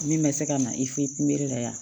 Min bɛ se ka na i fe yen kunbere la yan